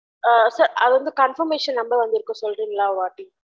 அ sir அது வந்து confirmation number வந்துருகு சொல்ட்ரிங்கல ஒருவாடி